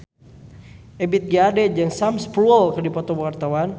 Ebith G. Ade jeung Sam Spruell keur dipoto ku wartawan